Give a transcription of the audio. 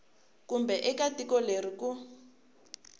kumbe eka tiko leri ku